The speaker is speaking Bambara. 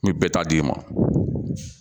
N bɛ bɛɛ ta di e ma